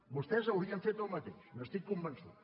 vostès haurien fet el mateix n’estic convençut